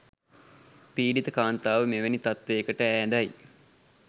පීඞීත කාන්තාව මෙවැනි තත්ත්වයකට ඈඳයි.